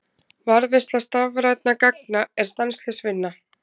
Varðveisla stafrænna gagna er stanslaus vinna.